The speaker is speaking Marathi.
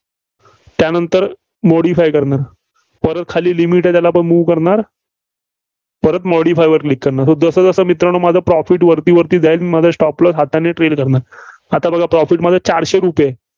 त्यानंतर modify करणार. परत खाली limit आहे, त्यालापण move करणार. परत modify करणार. जसं, जसं मित्रांनो माझं profit वरती वरती जाईल, माझा stop loss हाताने trail करणार. आता बघा profit माझा चारशे रुपये आहे.